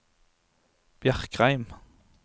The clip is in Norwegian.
Bjerkreim